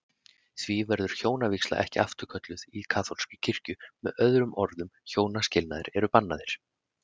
Því verður hjónavígsla ekki afturkölluð í kaþólskri kirkju, með öðrum orðum hjónaskilnaðir eru bannaðir.